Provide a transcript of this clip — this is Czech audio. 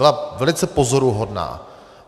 Byla velice pozoruhodná.